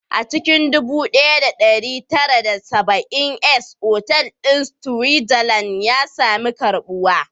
A cikin 1970s, otal ɗin a Switzerland ya sami karbuwa